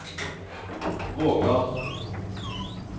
Vågan